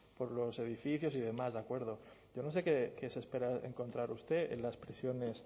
por los edificios y demás de acuerdo yo no sé qué se espera encontrar usted en las prisiones